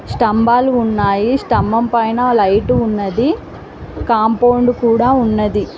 స్తంబాలు ఉన్నాయిస్తంభం పైన లైట్ ఉన్నది కూడా ఉన్నది.